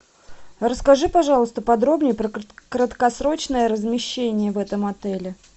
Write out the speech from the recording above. расскажи пожалуйста подробнее про краткосрочное размещение в этом отеле